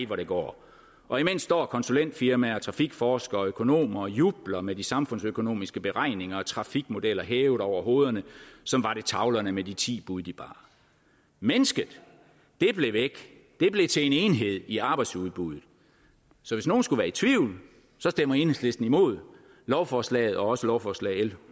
hvor det går og imens står konsulentfirmaer trafikforskere og økonomer og jubler med de samfundsøkonomiske beregninger og trafikmodeller hævet over hovederne som var det tavlerne med de ti bud de bar mennesket det blev væk det blev til en enhed i arbejdsudbuddet så hvis nogen skulle være i tvivl stemmer enhedslisten imod lovforslaget og også imod lovforslag l en